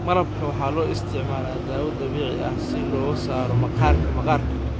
Malabka waxaa loo isticmaalaa dawo dabiici ah si looga saaro maqaarka maqaarka.